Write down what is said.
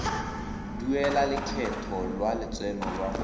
duela lekgetho la lotseno lwa